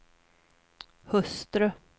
hustru